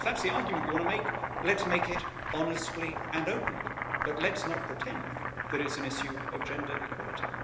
Fine, if that's the argument you want to make, let's make it honestly and openly, but let's not pretend that it is an issue of gender equality.